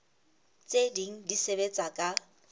tse ding di sebetsa ka